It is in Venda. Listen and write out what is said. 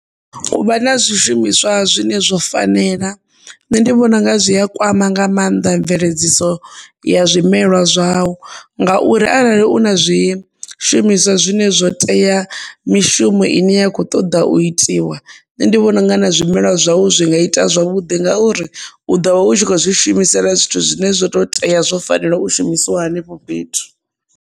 U vha na zwishumiswa zwine zwo fanela nṋe ndi vhona unga zwi a kwama nga mannḓa mveledziso ya zwimelwa zwaṋu, ngauri arali u na zwi shumiswa zwine zwo tea ya mishumo hone ine ya kho ṱoḓa u itiwa nṋe ndi vhona unga na zwimelwa zwaṋu zwi nga ita zwavhuḓi ngauri u ḓo vha u tshi kho zwi shumisela zwithu zwine zwo to tea zwo fanela u shumisiwa hanefho fhethu.